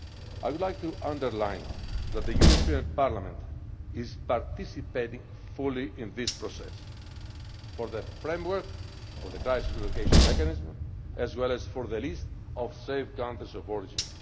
I would like to underline that the European Parliament is participating fully in this process for the framework, for the crisis and location mechanism, as well as for the list of safe countries of origin.